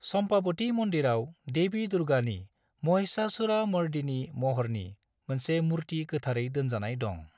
चम्पावती मन्दिराव देवी दुर्गानि महिषासुरमर्दिनी महरनि मोनसे मुर्ति गोथारै दोनजानाय दं।